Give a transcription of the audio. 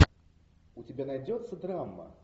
у тебя найдется драма